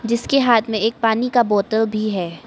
जिसके हाथ में एक पानी का बोतल भी है।